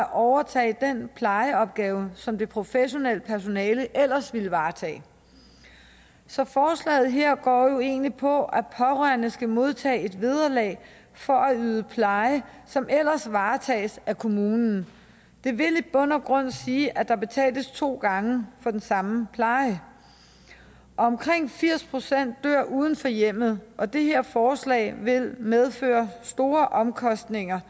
overtage den plejeopgave som det professionelle personale ellers ville varetage så forslaget her går jo egentlig på at pårørende skal modtage et vederlag for at yde pleje som ellers varetages af kommunen det vil i bund og grund sige at der betales to gange for den samme pleje omkring firs procent dør uden for hjemmet og det her forslag vil medføre store omkostninger